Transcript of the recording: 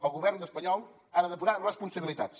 el govern espanyol ha de depurar responsabilitats